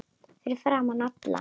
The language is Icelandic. Fyrir framan alla?